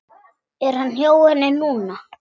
Er hann hjá henni núna?